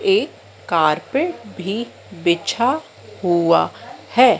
एक कारपेट भी बिछा हुआ है।